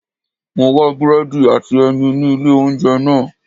Mo wá búrẹ́dì àti ẹyin ní ilé oúnjẹ náà.